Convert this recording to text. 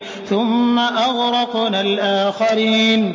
ثُمَّ أَغْرَقْنَا الْآخَرِينَ